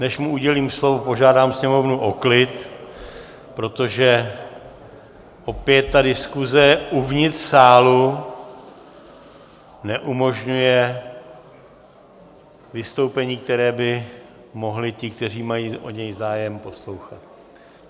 Než mu udělím slovo, požádám sněmovnu o klid, protože opět ta diskuze uvnitř sálu neumožňuje vystoupení, které by mohli ti, kteří mají o něj zájem, poslouchat.